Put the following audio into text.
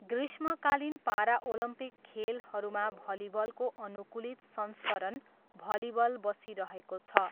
ग्रीष्मकालीन पाराओलम्पिक खेलहरूमा भलिबलको अनुकूलित संस्करण भलिबल बसिरहेको छ।